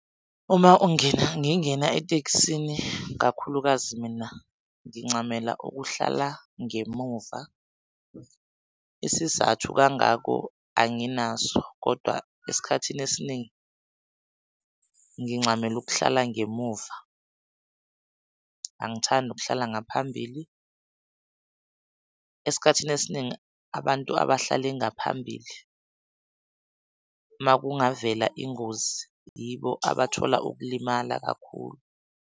Uma ungena ngingena etekisini kakhulukazi mina ngincamela ukuhlala ngemuva isizathu kangako anginaso kodwa esikhathini esiningi ngincamela ukuhlala ngemuva, angithandi ukuhlala ngaphambili . Esikhathini esiningi abantu abahlala ngaphambili uma kungavela ingozi yibo abathola ukulimala kakhulu.